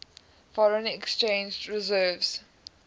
foreign exchange reserves